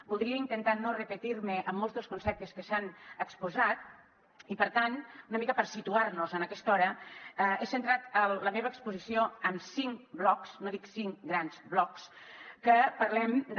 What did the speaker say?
voldria intentar no repetir me en molts dels conceptes que s’han exposat i per tant una mica per situar nos en aquesta hora he centrat la meva exposició en cinc blocs no dic cinc grans blocs que parlem de